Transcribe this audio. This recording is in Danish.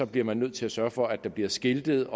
bliver man nødt til at sørge for at der bliver skiltet